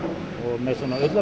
með svona ullarbragði